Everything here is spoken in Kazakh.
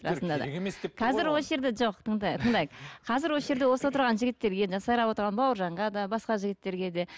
қазір осы жерде жоқ тыңдайық тыңдайық қазір осы жерде осы отырған жігіттерге жаңа сайрап отырған бауыржанға да басқа жігіттерге де